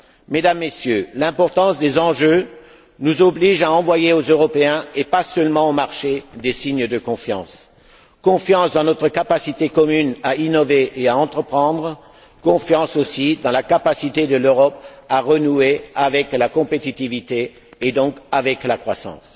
Mesdames, Messieurs, l'importance des enjeux nous oblige à envoyer aux Européens, et pas seulement aux marchés, des signes de confiance confiance dans notre capacité commune à innover et à entreprendre, confiance aussi dans la capacité de l'Europe à renouer avec la compétitivité, et donc avec la croissance.